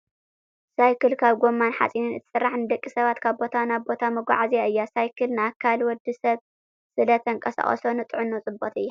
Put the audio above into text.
ሳይክል ካብ ጎማን ሓፂንን እትስራሕ ንደቂ ሰባት ካብ ቦታ ናብ ቦታ መጓዓዝያ እያ። ሳይክል ንኣካል ወዲ ሰብ ስለ ተንቀሳቅሶ ንጥዕና ፅብቅቲ እያ።